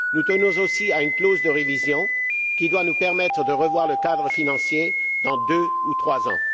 Nous tenons aussi à une clause de révision, qui doit nous permettre de revoir le cadre financier dans deux ou trois ans.